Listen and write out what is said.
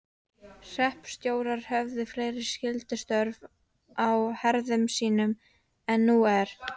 Hreppstjórar höfðu fleiri skyldustörf á herðum sínum en nú er.